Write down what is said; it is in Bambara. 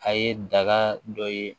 A ye daga dɔ ye